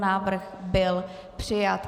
Návrh byl přijat.